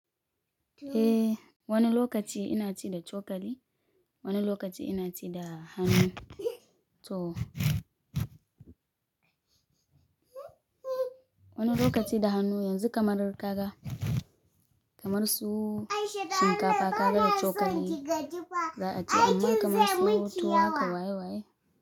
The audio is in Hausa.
Eh, wani lokaci ina ci da cokali, wani lokaci ina ci da hannu. To wani lokaci da hannu, yanzu kamar daga kamar su shinkafa ka da shi cokali za a ci amma kamar su tuwo kawa y waye waye.